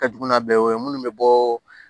Ka jugu n'a bɛɛ ye o ye minnu bɛ bɔɔ